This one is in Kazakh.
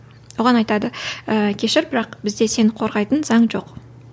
оған айтады ыыы кешір бірақ бізде сені қорғайтын заң жоқ